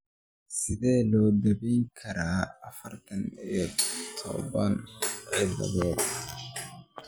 Sidee loo daweyn karaa afartan iyo toodba XXX ciladod?